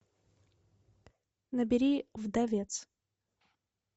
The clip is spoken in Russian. набери вдовец